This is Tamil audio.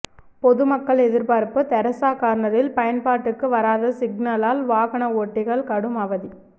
பொதுமக்கள் எதிர்பார்ப்பு தெரசா கார்னரில் பயன்பாட்டுக்கு வராத சிக்னலால் வாகன ஓட்டிகள் கடும் அவதி